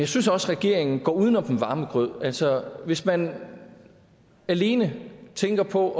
synes også regeringen går uden om den varme grød altså hvis man alene tænker på